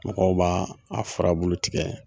Mɔgɔw b'a a furbulu tigɛ